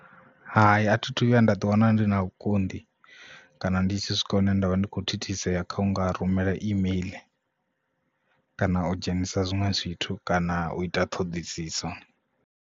Hai a thi thu vhuya nda ḓi wana ndi na vhukonḓi kana ndi tshi swika hune ndavha ndi kho thithisea kha unga rumela email kana u dzhenisa zwiṅwe zwithu kana u ita ṱhoḓisiso.